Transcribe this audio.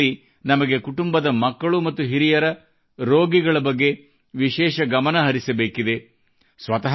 ಈ ಋತುವಿನಲ್ಲಿ ನಮಗೆ ಕುಟುಂಬದ ಮಕ್ಕಳು ಮತ್ತು ಹಿರಿಯರ ರೋಗಿಗಳ ಬಗ್ಗೆ ವಿಶೇಷ ಗಮನಹರಿಸಬೇಕಿದೆ